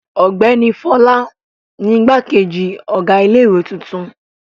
Ọ̀gbẹ́ni Fọlá ni igbákejì ọ̀gá ilé-ìwé tuntun.